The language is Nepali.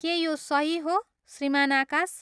के यो सही हो, श्रीमान आकाश?